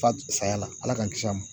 Fat saya la ala k'an kisi a ma